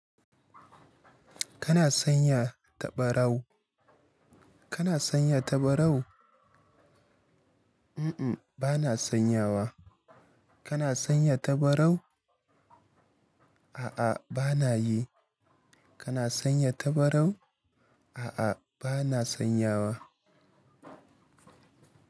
Kana sanya tabarau? Kana sanya tabarau? Uh-uh, bana sanyawa. Kana sanya tabarau? A'a, bana yi. Kana sanya tabarau? A'a, bana sanyawa.